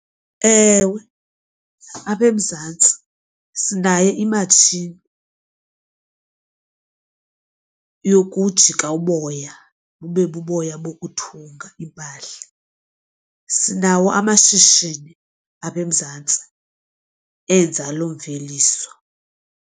Ewe, apha eMzantsi sinaye imatshini kum yokujika uboya bube buboya bokuthunga iimpahla. Sinawo amashishini apha eMzantsi enza loo mveliso.